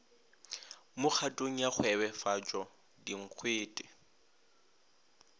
mo kgatong ya kgwebefatšo dinkgwete